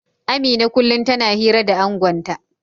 Amina kullum tana hira da angonta